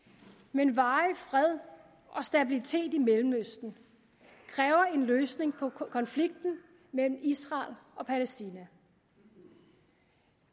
men varig fred og stabilitet i mellemøsten kræver en løsning på konflikten mellem israel og palæstina